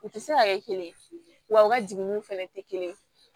U tɛ se ka kɛ kelen ye wa u ka jiginniw fana tɛ kelen ye